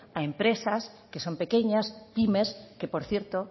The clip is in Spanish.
a empresas que son pequeñas pymes que por cierto